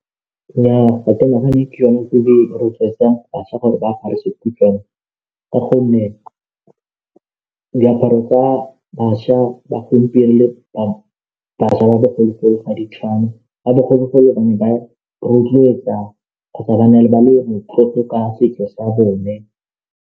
Nnyaa, ga ke nagane ke yone e rotloetsang bašwa gore ba apare sekhutshwane ka gonne diaparo tsa bašwa ba gompieno le bašwa ba bogologolo ga di tshwane, ba bogologolo ba ne ba rotloetsa kgotsa ba na le ba le motlotlo ka setso sa bone.